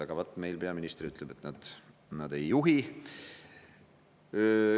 Aga vaat meie peaminister ütleb, et nad ei juhi.